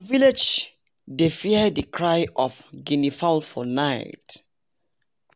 some village dey fear the cry of a guinea fowl for night